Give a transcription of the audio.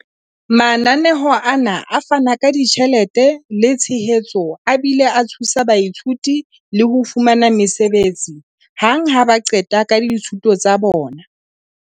Mananeo ana a fana ka ditjhelete le tshehetso a bile a thusa baithuti le ho fumana mesebetsi hang ha ba qeta ka dithuto tsa bona.